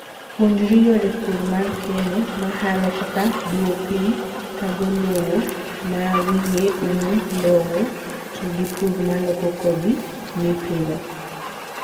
Puonjri yore purr mar keno, mahalo kaka duoo piny thago lowo mawiye, umu lowow to gi purr maloko kodhi mipidho.